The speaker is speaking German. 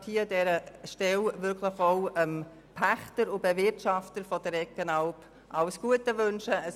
Ich möchte an dieser Stelle dem Pächter und Bewirtschafter der Eggenalp alles Gute wünschen.